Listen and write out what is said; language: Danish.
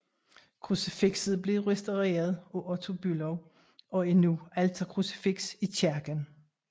Krucifikset blev restaureret af Otto Bülow og er nu alterkrucifiks i kirken